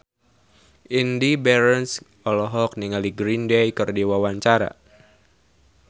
Indy Barens olohok ningali Green Day keur diwawancara